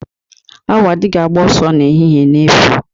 Awo adighi ágbà osoo ehihe n'efu.